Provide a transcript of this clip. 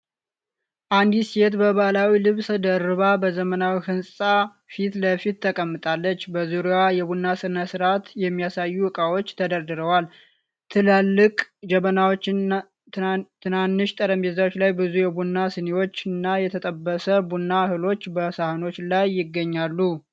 አንዲት ሴት በባህላዊ ልብስ ደርባ በዘመናዊ ህንጻ ፊት ለፊት ተቀምጣለች። በዙሪያዋ የቡና ሥነ ሥርዓት የሚያሳዩ ዕቃዎች ተደርድረዋል። ትላልቅ ጀበናዎች፣ ትናንሽ ጠረጴዛዎች ላይ ብዙ የቡና ሲኒዎችና የተጠበሰ ቡና እህሎች በሳህኖች ላይ ይገኛሉ።